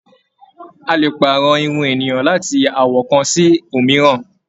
A lè pààrọ̀ irun ènìyàn láti àwọ̀ kan sí òmíràn.